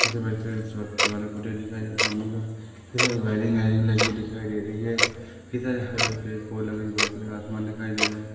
दिखाई दे सामने में इधर वायरिंग आईरिंग लगी हुइ दिखाई दे रही है इधर आसमान दिखाई दे रही है।